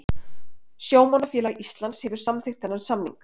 Sjómannafélag Íslands hefur samþykkt þennan samning